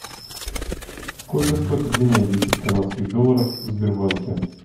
сколько стоит обменять десять канадских долларов в сбербанке